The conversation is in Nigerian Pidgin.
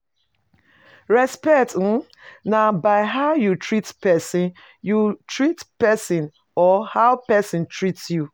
Respect um na by how you treat persin you treat persin or how persin treat you